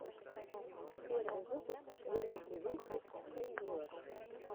первый выпуск лериты вити хэндиворк